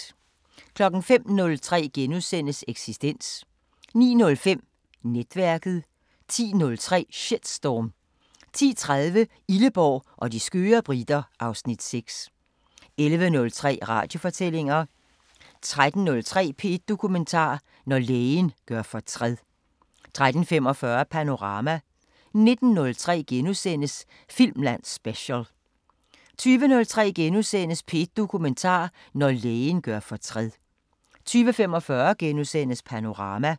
05:03: Eksistens * 09:05: Netværket 10:03: Shitstorm 10:30: Illeborg og de skøre briter (Afs. 6) 11:03: Radiofortællinger 13:03: P1 Dokumentar: Når lægen gør fortræd 13:45: Panorama 19:03: Filmland Special * 20:03: P1 Dokumentar: Når lægen gør fortræd * 20:45: Panorama *